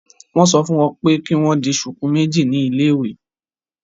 Won so fun wọn pé kì wọn dì shuku méjì ní ile-iwe